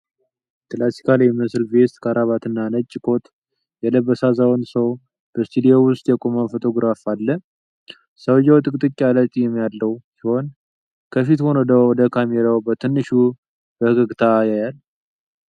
ክላሲካል የሚመስል ቬስት፣ ክራባትና ነጭ ኮት የለበሰ አዛውንት ሰው በስቱዲዮ ውስጥ የቆመ ፎቶግራፍ አለ። ሰውየው ጥቅጥቅ ያለ ጢም ያለው ሲሆን ከፊት ሆኖ ወደ ካሜራው በትንሹ ፈገግታ ያያል።